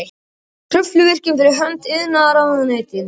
Kröfluvirkjun fyrir hönd iðnaðarráðuneytisins.